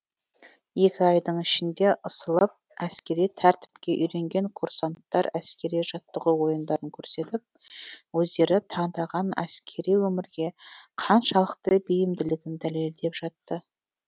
екі айдың ішінде ысылып әскери тәртіпке үйренген курсанттар әскери жаттығу ойындарын көрсетіп өздері таңдаған әскери өмірге қаншалықты бейімділігін дәлелдеп жатты